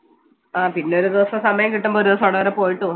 ആ പിന്നൊരു ദിവസം സമയം കിട്ടുമ്പം ഒരു ദിവസം അവിടം വരെ പോയിട്ട് വാ